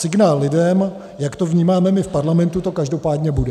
Signál lidem, jak to vnímáme my v Parlamentu, to každopádně bude.